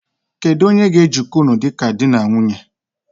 Kedu onye ga ejiko ụnụ dịka dị na nwunye?